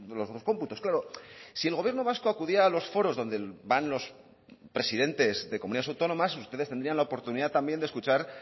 los dos cómputos claro si el gobierno vasco acudía a los foros donde van los presidentes de comunidades autónomas ustedes tendrían la oportunidad también de escuchar